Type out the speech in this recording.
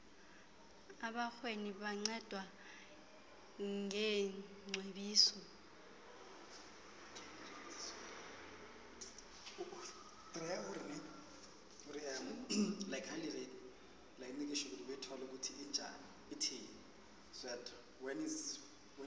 abarhweni bancedwa ngeengcebiso